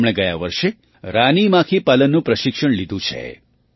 તેમણે ગયા વર્ષે રાની માખી પાલનનું પ્રશિક્ષણ લીધું છે